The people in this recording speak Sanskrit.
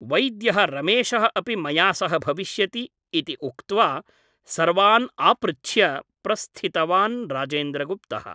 वैद्यः रमेशः अपि मया सह भविष्यति ' इति उक्त्वा सर्वान् आपृच्छ्य प्रस्थितवान् राजेन्द्रगुप्तः ।